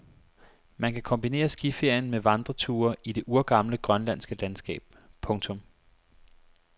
Man kan kombinere skiferien med vandreture i det urgamle grønlandske landskab. punktum